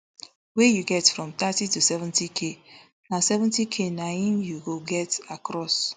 wey you get from thirty to seventyk na seventyk na im you go get across